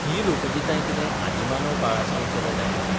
हीं लोकगितांय कितें आदिमानव काळासावन चलत आयल्यांत?